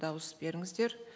дауыс беріңіздер